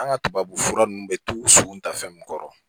An ka tubabufura nunnu bɛ to so ta fɛn min kɔrɔ